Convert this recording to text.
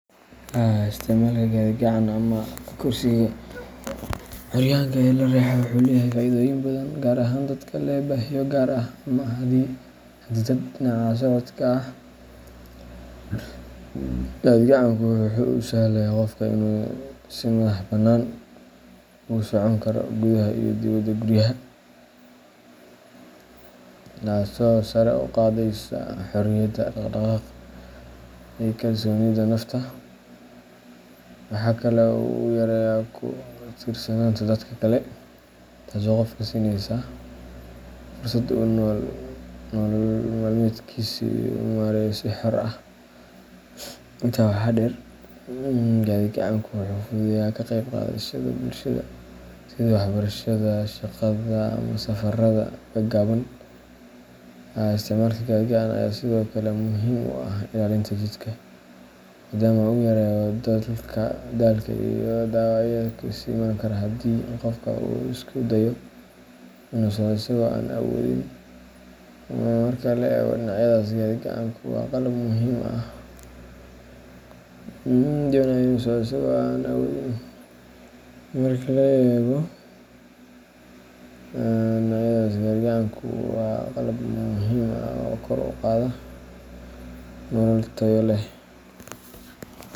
Isticmaalka gaadhi-gacan ama kursiga curyaanka ee la riixo wuxuu leeyahay faa’iidooyin badan, gaar ahaan dadka leh baahiyo gaar ah ama xaddidaad dhinaca socodka ah. Gaadhi-gacanku wuxuu u sahlayaa qofka inuu si madaxbannaan ugu socon karo gudaha iyo dibadda guryaha, taasoo sare u qaadaysa xorriyadda dhaqdhaqaaq iyo kalsoonida nafta. Waxa kale oo uu yareeyaa ku tiirsanaanta dadka kale, taasoo qofka siinaysa fursad uu nolol maalmeedkiisa u maareeyo si xor ah. Intaa waxaa dheer, gaadhi-gacanku wuxuu fududeeyaa ka qayb qaadashada bulshada, sida waxbarashada, shaqada, ama safarada gaagaaban. Isticmaalka gaadhi-gacan ayaa sidoo kale muhiim u ah ilaalinta jidhka, maadaama uu yareeyo daalka iyo dhaawacyada kale ee iman kara haddii qofka uu isku dayo inuu socdo isagoo aan awoodin. Marka la eego dhinacyadaas, gaadhi-gacanku waa qalab muhiim ah oo kor u qaada nolol tayo leh.